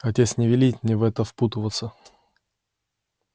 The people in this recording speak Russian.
отец не велит мне в это впутываться